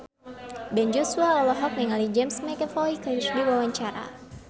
Ben Joshua olohok ningali James McAvoy keur diwawancara